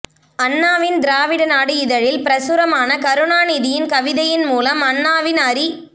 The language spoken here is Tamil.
அண்ணாவின் திராவிட நாடு இதழில் பிரசுரமான கருணாநிதியின் கவிதையின் மூலம் அண்ணாவின் அறி